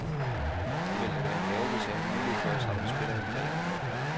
Det ville da være en gave, hvis jeg havde mulighed for at samle spillerne dagen inden.